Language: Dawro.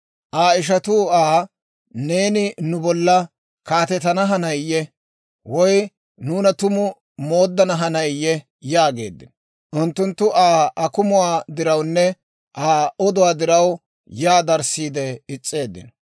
Aa ishatuu Aa, «Neeni nu bollan kaatetana hanayiyee? Woy nuuna tumu mooddana hanayiyee?» yaageeddino. Unttunttu Aa akumuwaa dirawunne Aa oduwaa diraw, yaa darissiide is's'eeddino.